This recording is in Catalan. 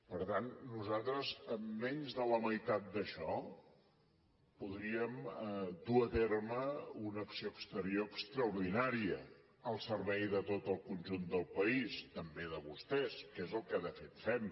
per tant nosaltres amb menys de la meitat d’això podríem dur a terme una acció exterior extraordinària al servei de tot el conjunt del país també de vostès que és el que de fet fem